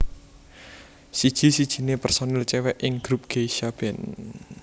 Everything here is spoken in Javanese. Siji sijine personil cewek ing grup Geisha band